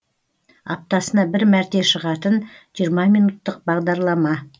аптасына бір мәрте шығатын жиырма минуттық бағдарлама